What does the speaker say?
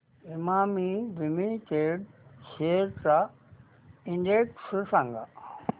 Emami limited shares चा index सांगा